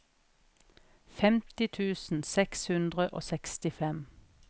femti tusen seks hundre og sekstifem